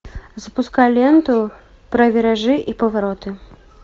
запускай ленту про виражи и повороты